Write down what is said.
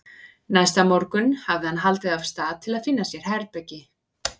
Næsta morgun hafði hann haldið af stað til að finna sér herbergi.